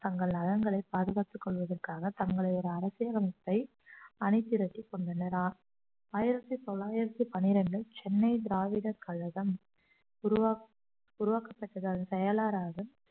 தங்கள் நலன்களை பாதுகாத்துக் கொள்வதற்காக தங்களை ஒரு அரசியல் அமைப்பை அணைத்திரட்டிக் கொண்டனர் அஹ் ஆயிரத்தி தொள்ளாயிரத்தி பன்னிரண்டில் சென்னை திராவிடர் கழகம் உருவாக்~ உருவாக்கப்பட்டதால் செயலாறராக